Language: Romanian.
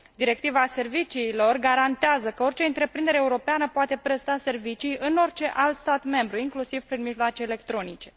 Directiva serviciilor garantează că orice întreprindere europeană poate presta servicii în orice alt stat membru, inclusiv prin mijloace electronice.